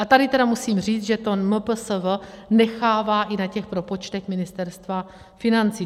A tady tedy musím říct, že to MPSV nechává i na těch propočtech Ministerstva financí.